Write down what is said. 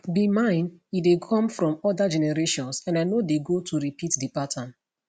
be mine e dey come from oda generations and i no dey go to repeat di pattern